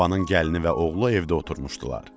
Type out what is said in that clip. Babanın gəlini və oğlu evdə oturmuşdular.